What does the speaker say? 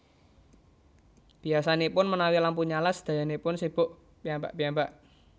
Biyasanipun menawi lampu nyala sedayanipun sibuk piyambak piyambak